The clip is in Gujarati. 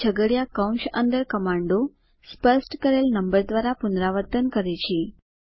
આ છગડીયા કૌંસ અંદર કમાન્ડો સ્પષ્ટ કરેલ નંબર દ્વારા પુનરાવર્તન કરે છે